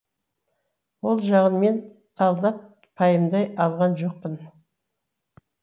ол жағын мен талдап пайымдай алған жоқпын